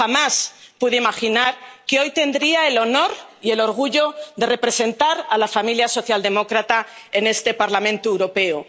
Pero jamás pude imaginar que hoy tendría el honor y el orgullo de representar a la familia socialdemócrata en este Parlamento Europeo.